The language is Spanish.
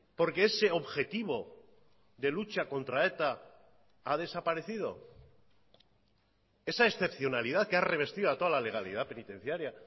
porque ese objetivo de lucha contra eta ha desaparecido esa excepcionalidad que ha revestido a toda la legalidad penitenciaria